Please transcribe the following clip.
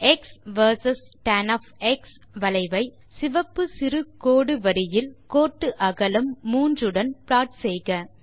X versus tan வளைவை சிவப்பு சிறு கோடு வரியில் கோட்டு அகலம் 3 உடன் ப்ளாட் செய்க